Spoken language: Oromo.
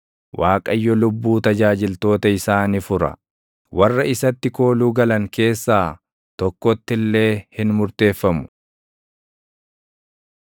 Waaqayyo lubbuu tajaajiltoota isaa ni fura; warra isatti kooluu galan keessaa tokkotti illee hin murteeffamu.